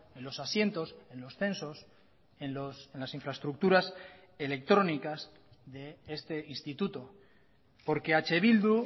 en los asientos en los censos en las infraestructuras electrónicas de este instituto porque eh bildu